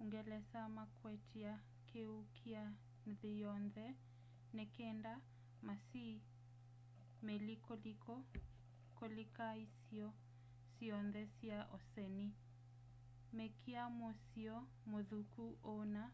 uungelesa makwatie kiwu kya nthi yonthe ni kenda masiîe meli kulika isio syonthe sya oseni mekia muisyo muthuku o na